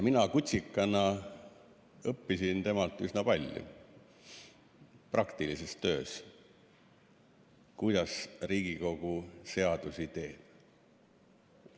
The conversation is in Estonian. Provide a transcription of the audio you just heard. Mina kutsikana õppisin temalt üsna palju praktilises töös selle kohta, kuidas Riigikogu seadusi teeb.